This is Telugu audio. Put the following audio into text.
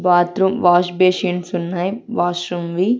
వాత్రూం వాష్ బేసిన్స్ ఉన్నాయ్ వాష్రూమ్ వి.